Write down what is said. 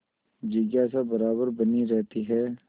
जिज्ञासा बराबर बनी रहती है